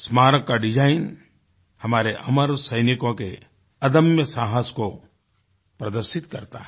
स्मारक का डिजाईनहमारे अमर सैनिकों के अदम्य साहस को प्रदर्शित करता है